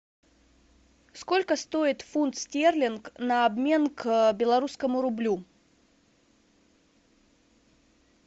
сколько стоит фунт стерлинг на обмен к белорусскому рублю